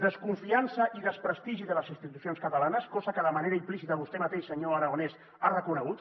desconfiança i desprestigi de les institucions catalanes cosa que de manera implícita vostè mateix senyor aragonès ha reconegut